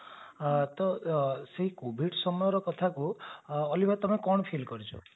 ତ ସେ covid ସମୟର କଥାକୁ ଅଲିଭା ତମେ କଣ feel କରୁଛ